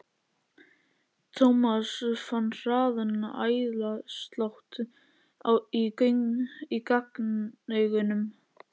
Thomas fann hraðan æðaslátt í gagnaugunum.